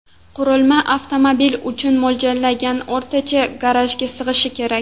Qurilma avtomobil uchun mo‘ljallangan o‘rtacha garajga sig‘ishi kerak.